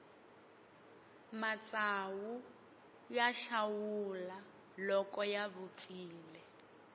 matsawu ya xawula loko ya vupfile